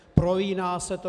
Prolíná se to.